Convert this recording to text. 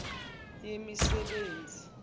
yemisebenzi